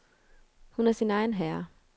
Hun er sin egen herre.